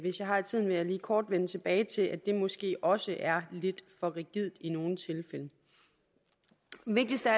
jeg har tiden vil jeg lige kort vende tilbage til at det måske også er lidt for rigidt i nogle tilfælde vigtigst af